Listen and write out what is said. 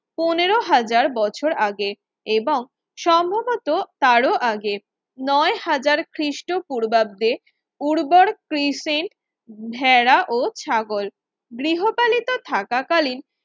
পনেরো হাজার বছর আগে এবং সম্ভবত তারও আগে নয় হাজার ক্রিস্টোপূর্বাব্দে উর্বর ক্রিসেন্ট ভেড়া ও ছাগল গৃহপালিত থাকাকালীন